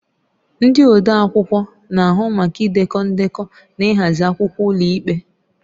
Ndị odeakwụkwọ na-ahụ maka idekọ ndekọ na ịhazi akwụkwọ ụlọikpe.